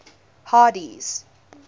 hardee's